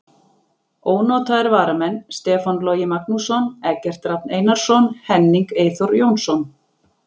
Ónotaðir varamenn: Stefán Logi Magnússon, Eggert Rafn Einarsson, Henning Eyþór Jónsson.